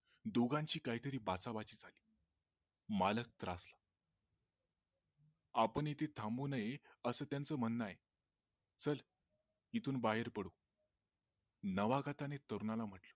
दोघांची काही तरी बाचाबाची झाली मालक त्रास आपण इथे थांबू नये असं त्यांच म्हणण आहे चल इथून बाहेर पडू नावागताने तरुणाला म्हंटले